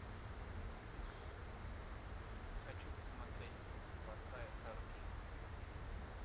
хочу посмотреть спасая сару кейн